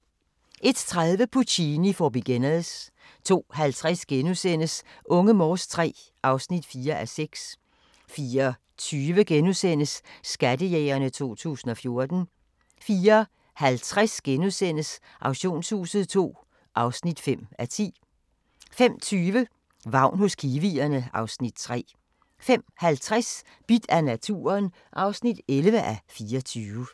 01:30: Puccini for Beginners 02:50: Unge Morse III (4:6)* 04:20: Skattejægerne 2014 * 04:50: Auktionshuset II (5:10)* 05:20: Vagn hos kiwierne (Afs. 3) 05:50: Bidt af naturen (11:24)